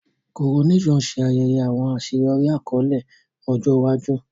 Coronation ṣe ayẹyẹ awọn aṣeyọri akọle ọjọ iwaju.